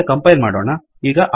ಮತ್ತೆ ಕಂಪೈಲ್ ಮಾಡೋಣ